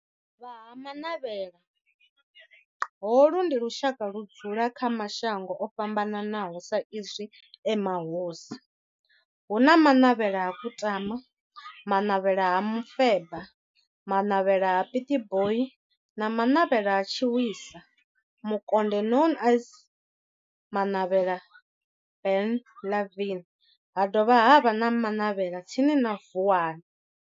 Vha Ha-Manavhela, holu ndi lushaka ludzula kha mashango ofhambanaho sa izwi e mahosi, hu na Manavhela ha Kutama, Manavhela ha Mufeba, Manavhela ha Pietboi na Manavhela ha Tshiwisa Mukonde known as Manavhela Benlavin, ha dovha havha na Manavhela tsini na Vuwani.